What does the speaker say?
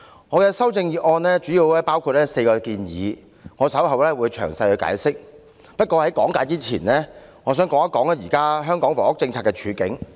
我的修正案主要包括4個建議，我稍後會作詳細解釋，不過，在講解前，我想談談現時香港房屋政策的處境。